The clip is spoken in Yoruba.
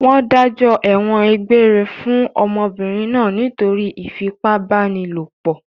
Wọ́n dájọ́ ẹ̀wọ̀n egbére fún ọmọbìnrin náà nítorí ìfipábánilòpọ̀?